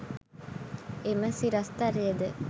එම සිරස්තලයද